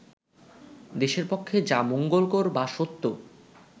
দেশের পক্ষে যা মঙ্গলকর বা সত্য